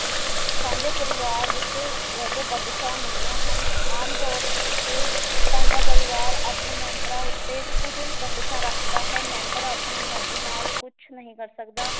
ਸਾਂਝੇ ਪਰਿਵਾਰ ਵਿਚ ਰਹਿ ਕੇ ਬੰਧਿਸਾਂ ਮਿਲਦੀਆਂ ਹਨ ਆਮ ਤੌਰ ਉੱਤੇ ਸਾਂਝਾਂ ਪਰਿਵਾਰ ਆਪਣੇ ਮੈਬਰਾਂ ਉੱਤੇ ਕੁੱਝ ਬੰਧਿਸਾਂ ਰੱਖਦਾ ਹੈ ਮੈਂਬਰ ਆਪਣੀ ਮਰਜੀ ਨਾਲ ਕੁਛ ਨਹੀ ਕਰ ਸਕਦਾ